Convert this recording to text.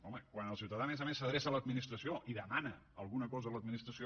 home quan el ciutadà a més a més s’adreça a l’administració i demana alguna cosa a l’administració